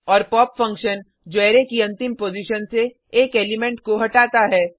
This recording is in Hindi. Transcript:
और पॉप फंक्शन जो अरै की अंतिम पॉजिशन से एक एलिमेंट को हटाता है